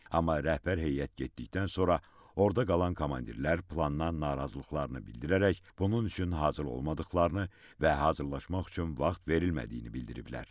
Amma rəhbər heyət getdikdən sonra orda qalan komandirlər plandan narazılıqlarını bildirərək bunun üçün hazır olmadıqlarını və hazırlaşmaq üçün vaxt verilmədiyini bildiriblər.